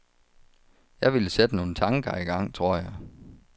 Jeg ville sætte nogle tanker i gang, tror jeg.